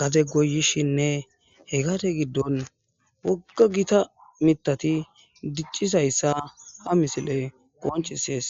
gade goyishinne hegate giddon wogga gita mitati diccisayssa ha misiley qonchisees